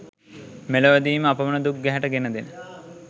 මෙලොවදීම අපමණ දුක් ගැහැට ගෙන දෙන